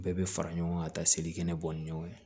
Bɛɛ bɛ fara ɲɔgɔn kan ka taa selikɛnɛ bɔ ni ɲɔgɔn ye